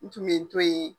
N tun bɛ n to yen